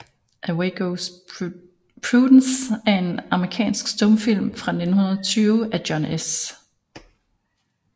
Away Goes Prudence er en amerikansk stumfilm fra 1920 af John S